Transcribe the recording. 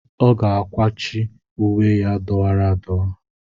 Ọ ga-akwachi uwe ya dọwara adọwa.